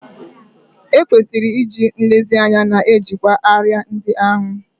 E kwesịrị iji nlezianya na-ejikwa árịà ndị ahụ